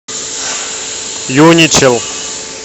юничел